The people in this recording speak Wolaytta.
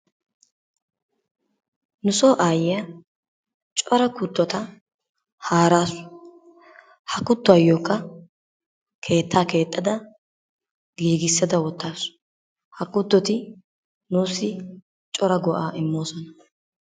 Nu soo ayyiyaa cora kuttota haarasu. Ha kuttuwaayokka keettaa keexxada giigissada woottaasu. Ha kuttoti nuusi cora go"aa immoosona.